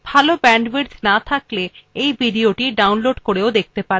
যদি ভাল bandwidth না থাকে তাহলে আপনি ভিডিওটি download করে দেখতে পারেন